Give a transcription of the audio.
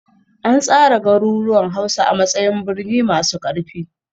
An tsara garuruwan Hausa a matsayin birni masu ƙarfi